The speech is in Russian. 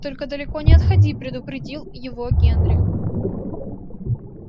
только далеко не отходи предупредил его генри